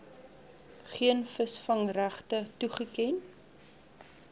geen visvangregte toegeken